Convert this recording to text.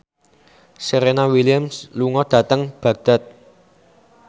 Serena Williams lunga dhateng Baghdad